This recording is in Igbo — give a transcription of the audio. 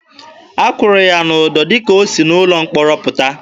A kụrụ ya ụdọ dịka o si n'ụlọ mkpọrọ pụta.